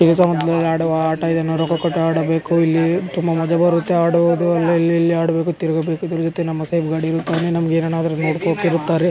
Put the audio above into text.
ಈ ಸಮಯದಲ್ಲಿ ಆಡುವ ಆಟ ಇದನ್ನ ರೊಕ್ಕ ಕೊಟ್ಟ ಆಡಬೇಕು ಇಲ್ಲಿ ತುಂಬಾ ಮಜಾ ಬರುತ್ತೆ ಆಡುವುದು ಇಲ್ಲಿ ಇಲ್ಲಿ ಆಡಬೇಕು ತಿರಗಬೇಕು ತಿರುಗುತ್ತೆ ನಮ್ಮ ಸೇಫ್ ಗಾಡಿ ಆಮೇಲೆ ನಮಗೆ ಏನನ್ನಾದ್ರೂ ನೋಡಕೊಕ್ಕೆ ಇರುತ್ತಾರೆ --